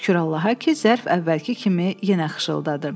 Şükür Allaha ki, zərf əvvəlki kimi yenə xışıldadı.